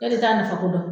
E de t'a nafa ko dɔn